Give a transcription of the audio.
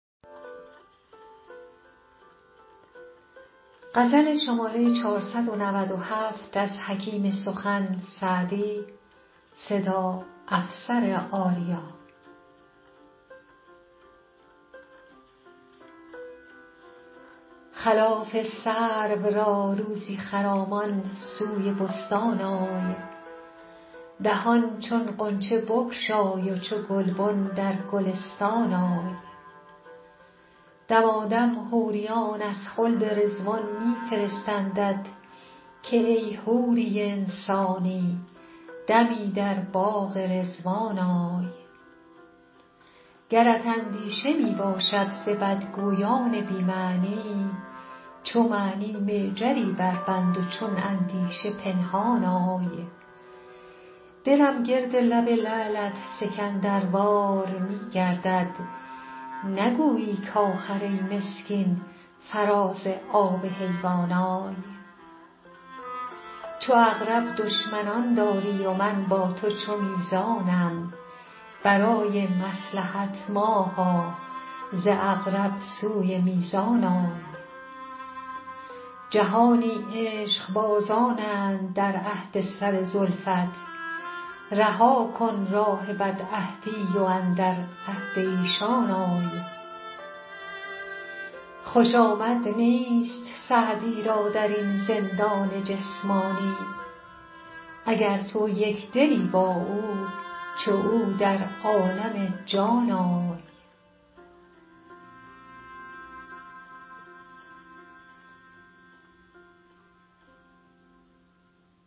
خلاف سرو را روزی خرامان سوی بستان آی دهان چون غنچه بگشای و چو گلبن در گلستان آی دمادم حوریان از خلد رضوان می فرستندت که ای حوری انسانی دمی در باغ رضوان آی گرت اندیشه می باشد ز بدگویان بی معنی چو معنی معجری بربند و چون اندیشه پنهان آی دلم گرد لب لعلت سکندروار می گردد نگویی کآخر ای مسکین فراز آب حیوان آی چو عقرب دشمنان داری و من با تو چو میزانم برای مصلحت ماها ز عقرب سوی میزان آی جهانی عشقبازانند در عهد سر زلفت رها کن راه بدعهدی و اندر عهد ایشان آی خوش آمد نیست سعدی را در این زندان جسمانی اگر تو یک دلی با او چو او در عالم جان آی